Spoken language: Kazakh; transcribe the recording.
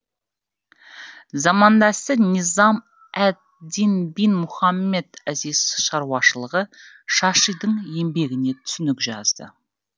замандасы низам әд дин бин мұхаммед азиз шаруашылығы шашидің еңбегіне түсінік жазды